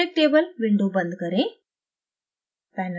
periodic table window बंद करें